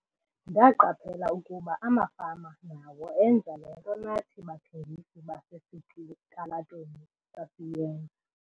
"Ndaqaphela ukuba amafama nawo enza le nto nathi bathengisi basesitalatweni sasiyenza."